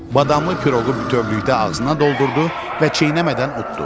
Badamlı piroğu bütövlükdə ağzına doldurdu və çeynəmədən utdu.